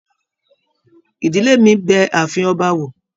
Ìdílé mí bẹ ààfin ọba wò.